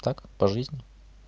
так по жизни